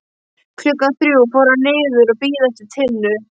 Klukkan þrjú fór hann niður að bíða eftir Tinnu.